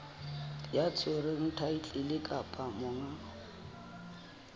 ya tshwereng thaetlele kapa monga